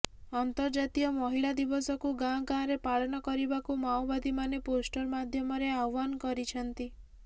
ଅନ୍ତର୍ଜାତୀୟ ମହିଳା ଦିବସକୁ ଗାଁ ଗାଁରେ ପାଳନ କରିବାକୁ ମାଓବାଦୀମାନେ ପୋଷ୍ଟର ମାଧ୍ୟମରେ ଆହ୍ୱାନ କରିଛନ୍ତି